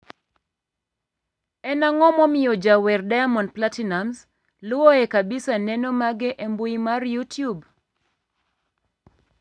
en ang'o momiyo jawer Diamond Platiinumz luwoe kabisa neno mage e mbui mar youtube?